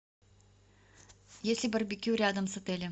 есть ли барбекю рядом с отелем